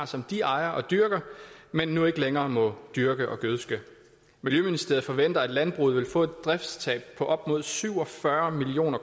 som de ejer og dyrker men nu ikke længere må dyrke og gødske miljøministeriet forventer at landbruget vil få et driftstab på op mod syv og fyrre million